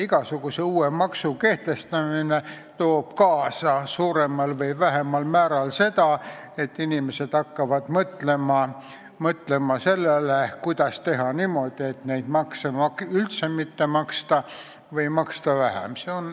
Igasuguse uue maksu kehtestamine toob suuremal või vähemal määral kaasa seda, et inimesed hakkavad mõtlema, kuidas teha niimoodi, et seda maksu üldse mitte maksta või maksta vähem.